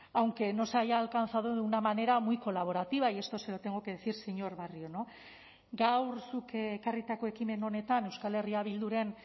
aunque no se haya alcanzado de una manera muy colaborativa y esto se lo tengo que decir señor barrio gaur zuk ekarritako ekimen honetan euskal herria bilduren